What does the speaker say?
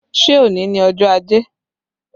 Ṣé òní ni ọjọ́ ajé?